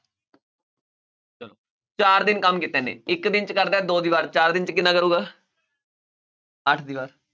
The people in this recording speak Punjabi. ਚਾਰ ਦਿਨ ਕੰਮ ਕੀਤਾ ਇੱਕ ਦਿਨ 'ਚ ਕਰਦਾ ਹੈ ਦੋ ਦੀਵਾਰ ਚਾਰ ਦਿਨ 'ਚ ਕਿੰਨਾ ਕਰੇਗਾ ਅੱਠ ਦੀਵਾਰ